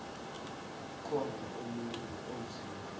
khona umuntu onzima